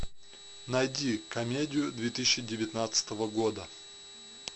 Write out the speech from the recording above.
найди комедию две тысячи девятнадцатого года